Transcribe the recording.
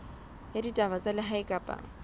ya ditaba tsa lehae kapa